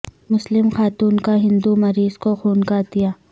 مسلم خاتون کا ہندو مریض کو خون کا عطیہ